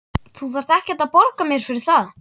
Þú þarft ekkert að borga mér fyrir það.